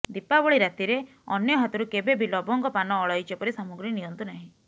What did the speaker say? ଦୀପାବଳି ରାତିରେ ଅନ୍ୟ ହାତରୁ କେବେବି ଲବଙ୍ଗ ପାନ ଅଳେଇଚ ପରି ସାମଗ୍ରୀ ନିଅନ୍ତୁନାହିଁ